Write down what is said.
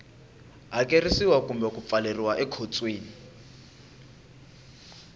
hakerisiwa kumbe ku pfaleriwa ekhotsweni